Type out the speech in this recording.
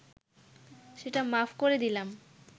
সেটা মাফ করে দিলাম